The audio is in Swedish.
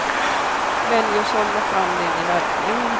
Välj och sålla fram det ni verkligen vill ha.